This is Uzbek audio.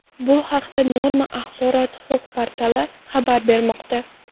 Bu haqda Norma axborot-huquq portali xabar bermoqda .